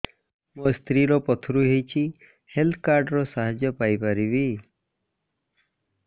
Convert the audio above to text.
ମୋ ସ୍ତ୍ରୀ ର ପଥୁରୀ ହେଇଚି ହେଲ୍ଥ କାର୍ଡ ର ସାହାଯ୍ୟ ପାଇପାରିବି